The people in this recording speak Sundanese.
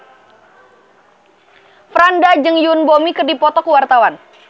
Franda jeung Yoon Bomi keur dipoto ku wartawan